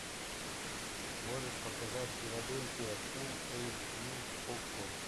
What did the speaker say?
можешь показать филадельфия фул эйч ди окко